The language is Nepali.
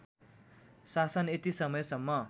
शासन यति समयसम्म